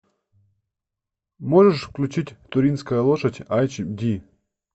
можешь включить туринская лошадь айч ди